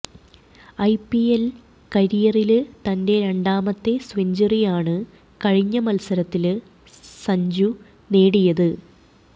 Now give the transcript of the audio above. IPL കരിയറില് തന്റെ രണ്ടാമത്തെ സെഞ്ച്വറിയാണ് കഴിഞ്ഞ മല്സരത്തില് സഞ്ജു നേടിയത്